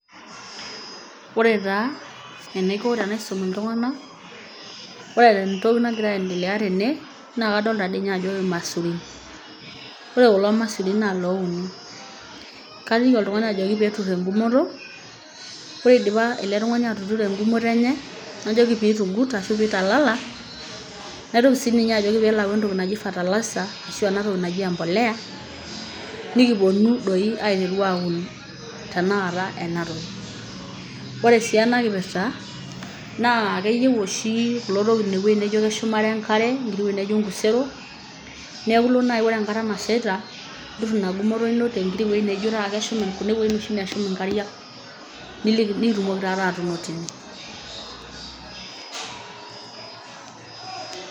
Oore taa tenaiko tenaisum iltung'anak, oore tentoki nagira aiendelea teene, naa kadolta toi ninye aajo irmaisurin. Ore kulo maisurin naa ilouni. Kaliki iltung'anak ajoki peyie etur egumoto, oore eidipa ele tun'ani atuturo egumoto eenye, najoki peyie eitugut arashu eitalala, naitoki sininye ajoki peyie eelo ayau entoki naaji fertilizer arashu eena toki naji empolea, nekipoonu doi aiteru aun tenakata doi eena toki. Oore sii eena kipirta keyieu ooshi kulo tokitin ewueji naijo keshumare enkare, iwuejitin naijo inkuseron niaku iilo naaji oore enkata nashaita netur egumoto iino tewueji naijo keshum inkariak, nitumoki taata atuuno teine.